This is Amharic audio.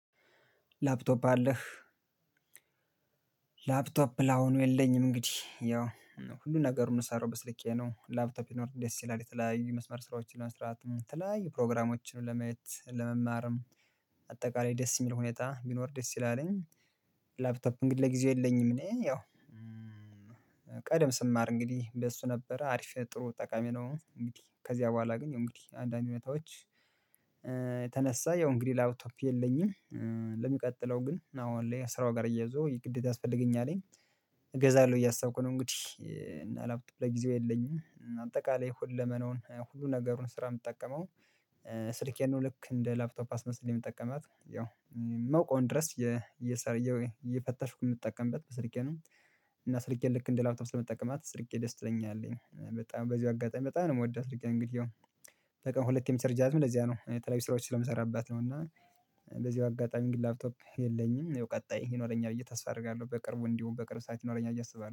ላፕቶፕ አለህ? ላፕቶፕ ላሁኑ የለኝም እንግዲህ ያው ሁሉን ነገር የምንሰራው በስልኬ ነው። ላፕቶፕ ቢኖር ደስ ይላል የተለያዩ የመስመር ስራዎችን መስራት የተለያዩ ፕሮግራሞችን ለመየት ለመማርም። አጠቃላይ ደስ የሚል ሁኔታ ቢኖር ደስ ይላልኝ። ላፕቶፕ እንግዲህ ለጊዜው የለኝም። እኔ ያው ቀደም ስማር እንግዲህ እንደሱ ነበር አሪፍ ጥሩ ጠቃሚ ነው። እንግዲህ ከዚያ በኋላ ግን እንግዲህ አንዳንድ እውነታዎች። ተነሳ ያው እንግዲህ ላፕቶፕ የለኝም። ለሚቀጥለው ግን አዎ አለ ስራው ጋር ተያይዞ ይሄ ግዴታ ያስፈልገኛል። እገዛለሁ እያሳብኩ ነው። እንግዲህ እና በጊዜው የለኝም አጠቃላይ ሁለመናውን ሁሉ ነገሩን ስራ የምትጠቀመው። ስሪኬን ልክ እንደ ላፕቶፕ አስመስዬ የምጠቀማት ያው የማውቀውን ድረስ እየፈተሽኩ የምጠቀምበት በስልኬ ነው። እና ስልኬ ልክ እንደ ላፕቶፕ ስለምጠቀማት ስልኬ ደስ ትለኛለች በጣም በዚሁ አጋጣሚ በጣም ነው የምወዳት እንግዲህ። ያው በቀን ሁለቴም የምቸርጃትም ለዚያ ነው የተለያዩ ስራዎች ስለምሰራበት ነው። እና ለዚህ አጋጣሚ ግን ላፕቶፕ የለኝም ያው ቀጣይ ይኖረኛል ብዬ ተስፋ አደርጋለሁ። በቅርቡ እንዲሁም በቅርቡ ሰዓት ይኖረኛል ብዬ አስባለው